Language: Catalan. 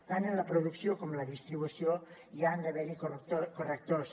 tant en la producció com en la distribució hi han d’haver correctors